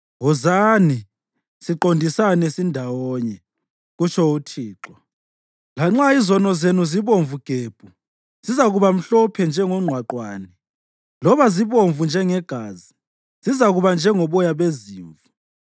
Wozani, siqondisane sindawonye,” kutsho uThixo. “Lanxa izono zenu zibomvu gebhu, zizakuba mhlophe njengonqwaqwane, loba zibomvu njengegazi, zizakuba njengoboya bezimvu.